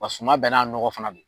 Wa suman bɛɛ n'a nɔgɔ fana don